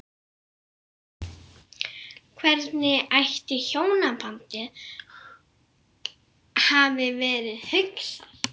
Hvernig ætli hjónabandið hafi verið hugsað?